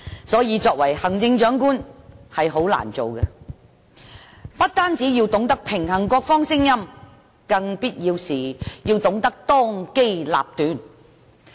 所以，行政長官是很難做的，他不單要平衡各方聲音，在必要時更要當機立斷。